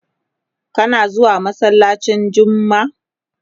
kana zuwa masallacin jummma?